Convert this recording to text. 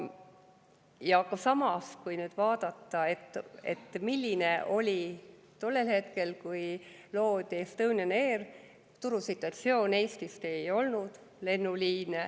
Samas, vaatame nüüd, milline oli turusituatsioon tollel ajal, kui loodi Estonian Air: Eestist ei olnud lennuliine.